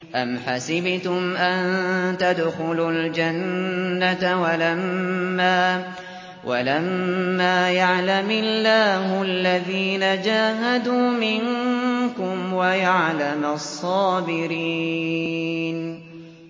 أَمْ حَسِبْتُمْ أَن تَدْخُلُوا الْجَنَّةَ وَلَمَّا يَعْلَمِ اللَّهُ الَّذِينَ جَاهَدُوا مِنكُمْ وَيَعْلَمَ الصَّابِرِينَ